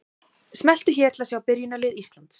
Smelltu hér til að sjá byrjunarlið Íslands.